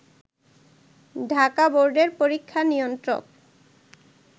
ঢাকা বোর্ডের পরীক্ষা নিয়ন্ত্রক